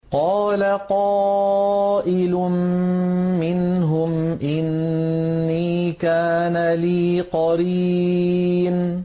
قَالَ قَائِلٌ مِّنْهُمْ إِنِّي كَانَ لِي قَرِينٌ